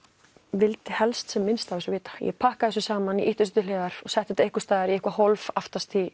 vildi helst sem minnst af þessu vita þannig ég pakkaði þessu saman og ýtti þessu til hliðar setti þetta í eitthvað hólf aftast